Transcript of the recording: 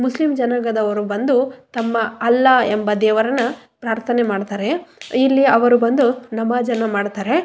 Muslim ಜನಾಂಗದವರು ಬಂದು ತಮ್ಮ ಅಲ್ಲಾ ಎಂಬ ದೇವರನ್ನ ಪ್ರಾರ್ಥನೆ ಮಾಡ್ತಾರೆ ಇಲ್ಲಿ ಅವರು ಬಂದು ನಮಾಝನ್ನು ಮಾಡ್ತಾರೆ.